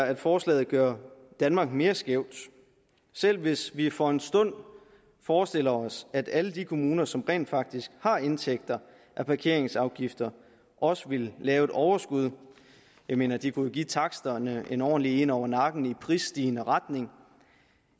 at forslaget gør danmark mere skævt selv hvis vi for en stund forestiller os at alle de kommuner som rent faktisk har indtægter fra parkeringsafgifter også vil lave et overskud jeg mener de kunne jo give taksterne en ordentlig en over nakken i prisstigende retning